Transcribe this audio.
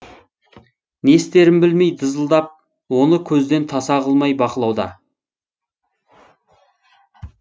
не істерін білмей дызылдап оны көзден таса қылмай бақылауда